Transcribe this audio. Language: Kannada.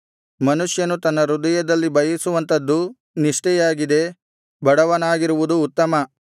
ಮನುಷ್ಯನು ತನ್ನ ಹೃದಯದಲ್ಲಿ ಬಯಸುವಂಥದ್ದು ನಿಷ್ಠೆಯಾಗಿದೆ ಬಡವನಾಗಿರುವುದು ಉತ್ತಮ